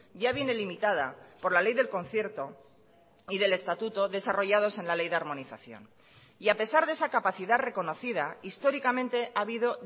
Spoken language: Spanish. ya viene limitada por la ley del concierto y del estatuto desarrollados en la ley de armonización y a pesar de esa capacidad reconocida históricamente ha habido